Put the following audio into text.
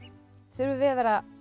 þurfum við að vera